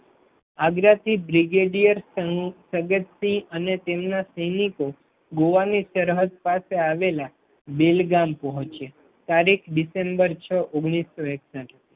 આગ્રાથી brigadier Sadat Singh અને તેમના સૈનિકો ગોવાની સરહદ પાસે આવેલા બેલગામ પહુચ્યા. તારીખ ડીસેમ્બર છ ઓગણીસો એકસઠ